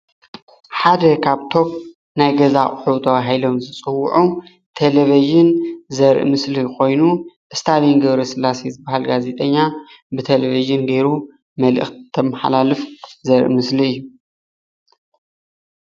ሓደ ካብቶም ናይ ገዛ ኣቁሑ ተባሂሎም ዝፅውዑ ቴለቪዥን ዘርኢ ምስሊ ኮይኑ ስታሊን ገ/ስላሴ ዝብሃል ጋዜጠና ብተለቪዥን ጌሩ መልእክቲ እንተመሓላልፍ ዘርኢ ምስሊ እዩ፡፡